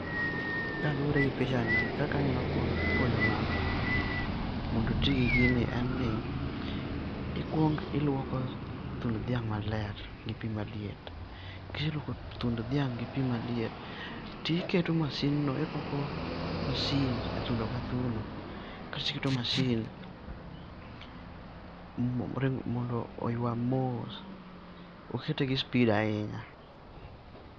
Kalure gi pichani kaka anya puonjo ng'ato mondo oti gi gini en ni ikuong iluoko thund dhiang' ma ler gi pi ma liet, ki iseluoko thund dhiang' gi pi ma liet, ti iketo masin no irwako masin e thuno ka thuno, kasto iketo masin ringo mondo oywag mos ok ikete gi speed ahinya.